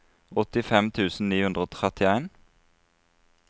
åttifem tusen ni hundre og trettien